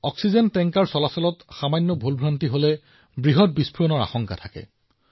আনকি আটাইতকৈ সৰু ভুলৰ পৰাও এটা ডাঙৰ বিস্ফোৰণ হোৱাৰ আশংকা থাকে